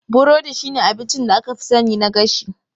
Burodi shine abincin da aka fi sani na gashi.